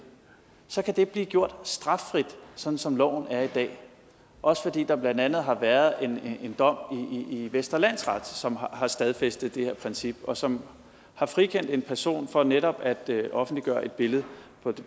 så kan det blive gjort straffrit sådan som loven er i dag også fordi der blandt andet har været en dom i vestre landsret som har stadfæstet det her princip og som har frikendt en person for netop at offentliggøre et billede